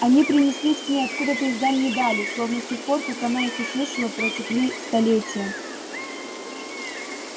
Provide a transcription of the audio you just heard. они принеслись к ней откуда-то из дальней дали словно с тех пор как она их услышала протекли столетья